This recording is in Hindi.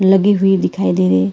लगी हुई दिखाई दे रही--